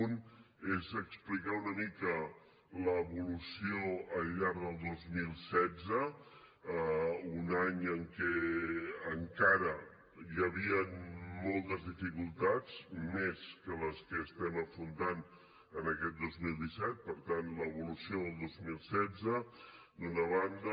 un és explicar una mica l’evolució al llarg del dos mil setze un any en què encara hi havien moltes dificultats més que les que estem afrontant en aquest dos mil disset per tant l’evolució del dos mil setze d’una banda